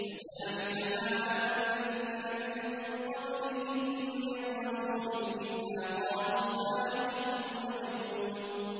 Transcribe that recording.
كَذَٰلِكَ مَا أَتَى الَّذِينَ مِن قَبْلِهِم مِّن رَّسُولٍ إِلَّا قَالُوا سَاحِرٌ أَوْ مَجْنُونٌ